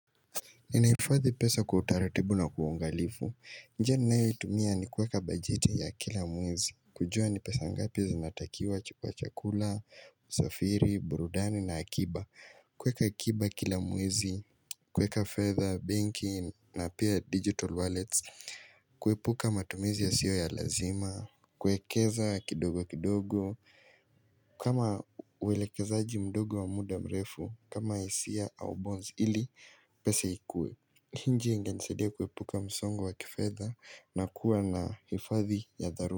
Ninahifadhi pesa kwa utaratibu na kwa uangalifu. Njia ninayoitumia ni kueka bajeti ya kila mwezi. Kujua ni pesa ngapi zinatakiwa chukua chakula, usafiri, burudani na akiba. Kuweka akiba kila mwezi, kuweka fedha, banking na pia digital wallets. Kuepuka matumizi yasiyo ya lazima. Kwekeza kidogo kidogo. Kama uwelekezaji mdogo wa muda mrefu, kama hisia au bonds ili pesa ikue. Njia inanisaidia kuepuka msongo wa kifedha na kuwa na hifadhi ya dharura.